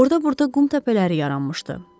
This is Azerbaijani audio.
Orda-burda qum təpələri yaranmışdı.